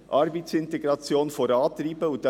Die Arbeitsintegration muss vorangetrieben werden.